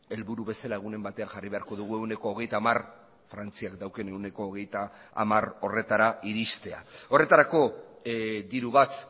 helburu bezala egunen batean jarri beharko dugu ehuneko hogeita hamar frantziak daukan ehuneko hogeita hamar horretara iristea horretarako diru bat